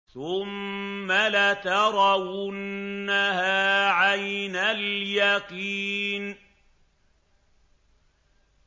ثُمَّ لَتَرَوُنَّهَا عَيْنَ الْيَقِينِ